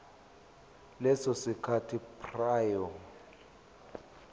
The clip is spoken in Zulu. leso sikhathi prior